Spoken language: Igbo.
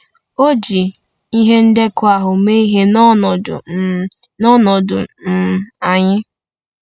O ji ihe ndekọ ahụ mee ihe n’ọnọdụ um n’ọnọdụ um anyị.